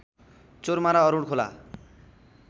चोरमारा अरूण खोला